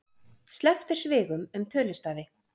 Sleppt er svigum um tölustafi.